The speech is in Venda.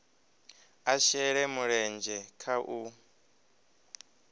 a shele mulenzhe kha u